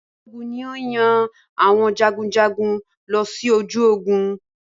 Balógun ni yíò yan àwọn jagunjagun lọ sí ojú Ogun